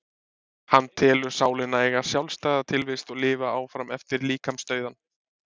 Hann telur sálina eiga sjálfstæða tilvist og lifa áfram eftir líkamsdauðann.